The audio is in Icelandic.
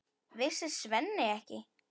Vissi Svenni ekki?